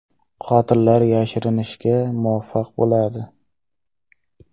Qotillar yashirinishga muvaffaq bo‘ladi.